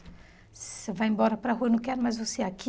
Você vai embora para a rua, eu não quero mais você aqui.